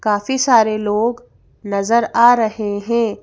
काफी सारे लोग नजर आ रहे हैं।